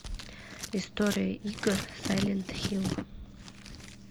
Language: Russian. история игр сайлент хилл